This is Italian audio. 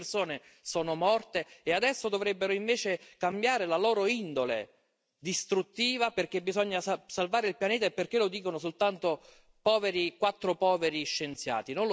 Milioni di persone sono morte e adesso dovrebbero invece cambiare la loro indole distruttiva perché bisogna salvare il pianeta e perché lo dicono soltanto quattro poveri scienziati.